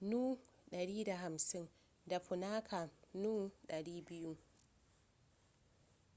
nu 150 da punakha nu 200